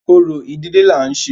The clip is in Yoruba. Orò ìdílé là ń ṣe.